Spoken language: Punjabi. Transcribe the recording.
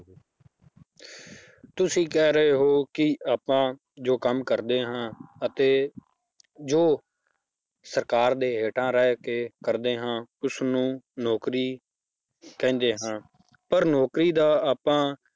ਤੁਸੀਂ ਕਹਿ ਰਹੇ ਹੋ ਕਿ ਆਪਾਂ ਜੋ ਕੰਮ ਕਰਦੇ ਹਾਂ ਅਤੇ ਜੋ ਸਰਕਾਰ ਦੇ ਹੇਠਾਂ ਰਹਿ ਕੇ ਕਰਦੇ ਹਾਂ ਉਸਨੂੰ ਨੌਕਰੀ ਕਹਿੰਦੇ ਹਨ, ਪਰ ਨੌਕਰੀ ਦਾ ਆਪਾਂ